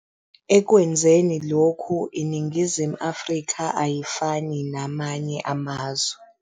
Ekwenzeni lokhu, iNingizimu Afrika ayifani namanye amazwe.